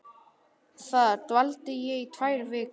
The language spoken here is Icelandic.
Þar dvaldi ég í tvær vikur.